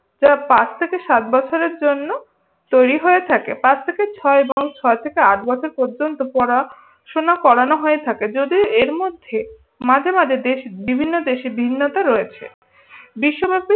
যা পাঁচ থেকে সাত বছরের জন্য তৈরি হয়ে থাকে। পাঁচ থেকে ছয় এবং ছয় থেকে আট বছর পর্যন্ত পড়াশুনা করান হয়ে থাকে। যদি এর মধ্যে মাঝে মাঝে দেশে বিভিন্ন দেশে বিভিন্নতা রয়েছে। বিশ্ব